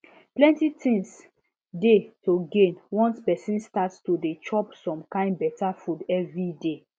plenty things dey to gain once person start to dey chop some kind better food evey day